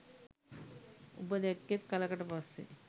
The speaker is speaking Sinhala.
උඹ දැක්කෙත් කලකට පස්සෙ